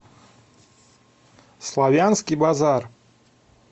славянский базар